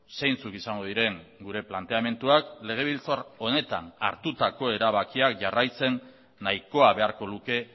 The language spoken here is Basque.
zeintzuk izango diren gure planteamenduak legebiltzar honetan hartutako erabakiak jarraitzen nahikoa beharko luke